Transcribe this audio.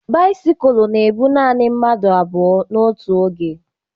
Bisikul na ebu nanị mmadụ abụọ n'otu oge